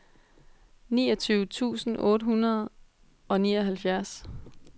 niogtyve tusind otte hundrede og nioghalvfjerds